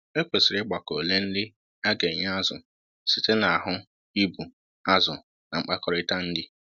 Ekwesịrị ịgbakọ ole nri a ga enye azụ site na ahụ ibu azụ na mkpakọrịta nri